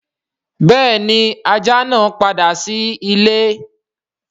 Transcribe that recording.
Béèni ajá naa pàdà sí ìlé.